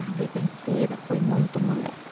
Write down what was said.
A vida inteira foi muito moleca.